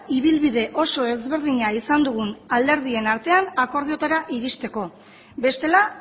ibilbide oso ezberdina izan dugun alderdien artean akordioetara iristeko bestela